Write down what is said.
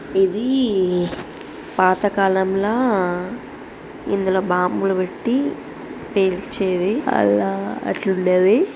ఇది ఈ పాత కాలంలా ఇందులో బాంబులు పెట్టి పేల్చేవి ఆలా అట్లుండేవి.